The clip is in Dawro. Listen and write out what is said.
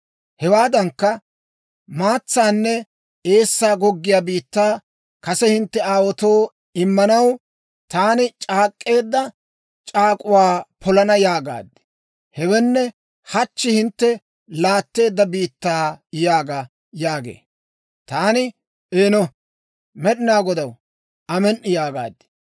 Hewaadankka, maatsaanne eessaa goggiyaa biittaa kase hintte aawaatoo immanaw, taani c'aak'k'eedda c'aak'uwaa polana yaagaad. Hewenne, hachchi hintte laatteedda biittaa yaaga» yaagee. Taani, «Eeno, Med'inaa Godaw, amen"i» yaagaad.